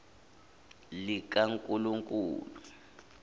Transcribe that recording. likankulunkulu